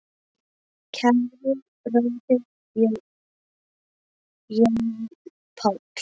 Kæri bróðir, Jón Páll.